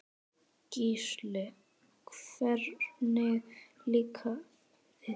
Gísli: Hvernig líkaði þér?